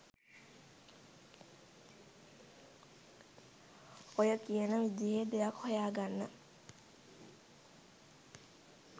ඔය කියන විදිහේ දෙයක් හොයාගන්න.